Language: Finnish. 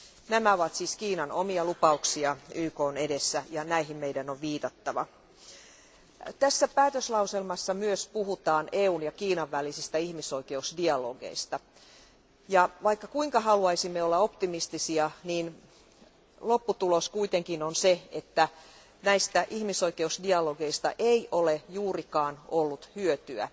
Nämä ovat siis Kiinan omia lupauksia YKn edessä ja näihin meidän on viitattava. Tässä päätöslauselmassa myös puhutaan EUn ja Kiinan välisistä ihmisoikeusdialogeista, ja vaikka kuinka haluaisimme olla optimistisia, niin lopputulos kuitenkin on se, että näistä ihmisoikeusdialogeista ei ole juurikaan ollut hyötyä.